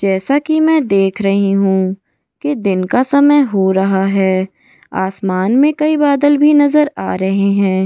जैसा कि मैं देख रही हूं कि दिन का समय हो रहा है आसमान में कई बादल भी नजर आ रहे हैं।